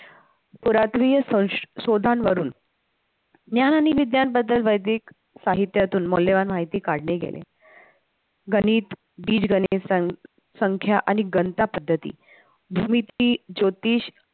पुरातनीय संशोधनावरून ज्ञान आणि विज्ञान बद्दल वैधनिक साहित्यातून मौल्यवान माहिती काढले गेले, गणित बीजगणित संख्या आणि गणता पद्धती द्विती ज्योतिष